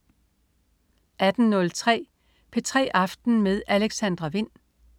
18.03 P3 aften med Alexandra Wind